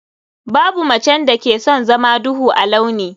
Babu macen da ke son zama duhu a launi.